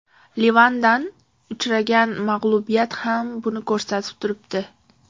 Livandan uchragan mag‘lubiyati ham buni ko‘rsatib turibdi.